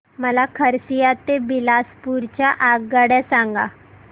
मला खरसिया ते बिलासपुर च्या आगगाड्या सांगा